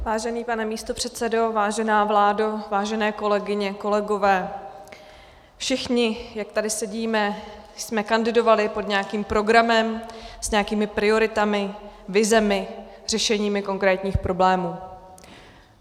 Vážený pane místopředsedo, vážená vládo, vážené kolegyně, kolegové, všichni, jak tady sedíme, jsme kandidovali pod nějakým programem, s nějakými prioritami, vizemi, řešeními konkrétních problémů.